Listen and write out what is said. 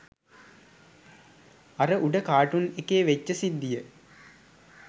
අර උඩ කාටූන් එකේ වෙච්ච සිද්දිය